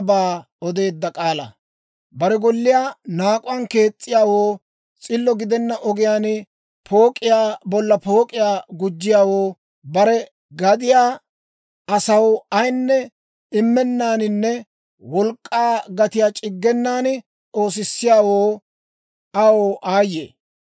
Bare golliyaa naak'uwaan kees's'iyaawoo, s'illo gidenna ogiyaan pook'iyaa bolla pook'iyaa gujjiyaawoo, bare gadiyaa asaw ayinne immennaaninne wolk'k'aa gatiyaa c'iggenan oosissiyaawo, aw aayye!